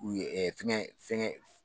U ye fɛngɛ fɛngɛ